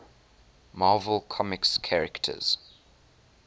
marvel comics characters